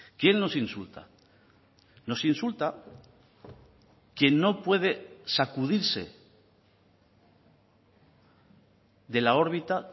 quién nos insulta nos insulta quien no puede sacudirse de la órbita